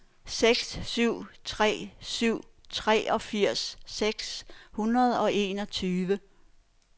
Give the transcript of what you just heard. seks syv tre syv treogfirs seks hundrede og enogtyve